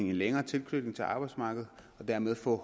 længere tilknytning til arbejdsmarkedet og dermed få